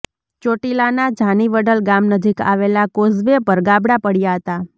ચોટીલાના જાનીવડલ ગામ નજીક આવેલા કોઝવે પર ગાબડાં પડ્યા હતા